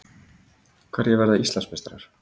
Hverjir verða Íslandsmeistarar?